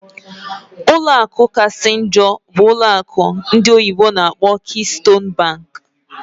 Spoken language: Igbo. Ọlụ akụ kachasị njọ bụ ụlọ akụ ndị oyibo n'akpọ "Keystone bank"